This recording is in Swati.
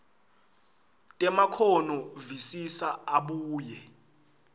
temakhono visisa abuye